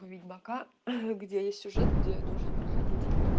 у ведьмака где есть сюжет где нужно проходить